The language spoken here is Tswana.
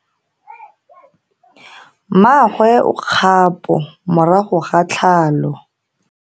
Mmagwe o kgapo morago ga tlhalo.